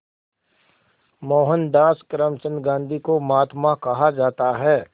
मोहनदास करमचंद गांधी को महात्मा कहा जाता है